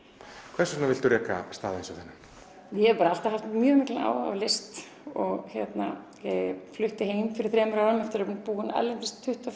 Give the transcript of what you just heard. hvers vegna viltu reka stað eins og þennan ég hef alltaf haft mikinn áhuga á list ég flutti heim fyrir þremur árum eftir að hafa búið erlendis í tuttugu